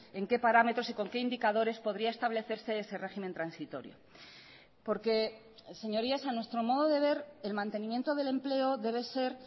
en qué parámetros y con qué indicadores podría establecerse ese régimen transitorio porque señorías a nuestro modo de ver el mantenimiento del empleo debe ser